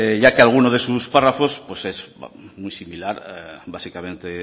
ya que alguno de sus párrafos pues es muy similar básicamente